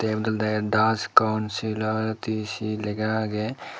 eyot olode das counsilaticy lega agey.